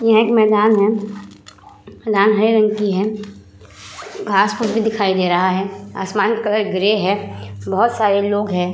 यह एक मैदान है। मैदान हरे रंग की है। घास-फूस भी दिखाई दे रहा है। आसमान का कलर ग्रे है। बहोत सारे लोग हैं।